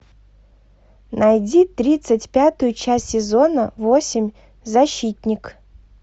найди тридцать пятую часть сезона восемь защитник